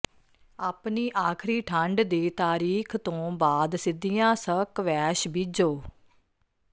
ਆਪਣੀ ਆਖਰੀ ਠੰਡ ਦੀ ਤਾਰੀਖ ਤੋਂ ਬਾਅਦ ਸਿੱਧੀਆਂ ਸਕਵੈਸ਼ ਬੀਜੋ